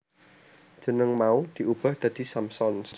Jeneng mau diubah dadi Samsons